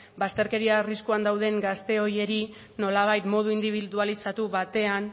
bazterkeria arriskuan dauden gazte horiei nolabait modu indibidualizatu batean